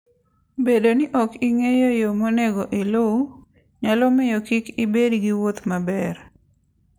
Bedo ni ok ing'eyo yo monego iluw, nyalo miyo kik ibed gi wuoth maber.